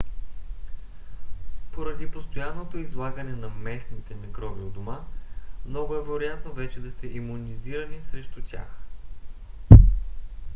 поради постоянното излагане на местните микроби у дома много е вероятно вече да сте имунизирани срещу тях